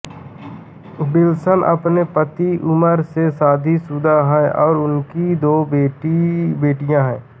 Wilson अपने पति उमर से शादीशुदा है और उसकी दो बेटियां हैं